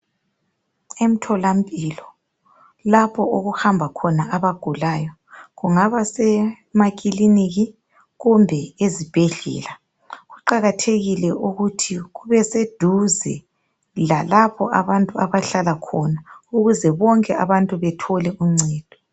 Emtholampilo, lapho okuhamba khona abagulayo. Kungaba semakiliniki, kumbe esibhedlela. Kuqakathekile ukuthi kube seduze, lalapho abantu abahlala khona, Ukuze bonke abantu bathole uncedo.